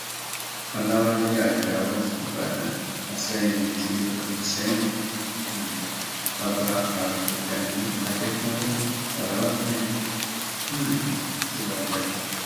ọlàwálẹ ajáò ìbàdàn àsẹyìn tìlú ìsẹyìn um ọba abdul ganiy adẹkùnlé salawudeen um ti wájà